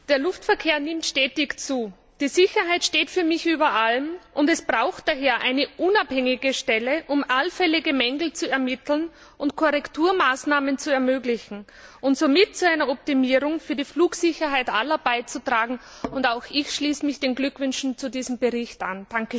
Der Luftverkehr nimmt stetig zu. Die Sicherheit steht für mich über allem. Es braucht daher eine unabhängige Stelle, um allfällige Mängel zu ermitteln und Korrekturmaßnahmen zu ermöglichen und somit zu einer Optimierung für die Flugsicherheit aller beizutragen. Auch ich schließe mich den Glückwünschen zu diesem Bericht an.